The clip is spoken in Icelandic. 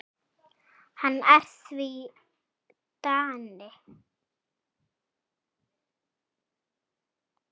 Hann er því Dani.